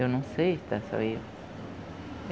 Eu não sei se está só eu.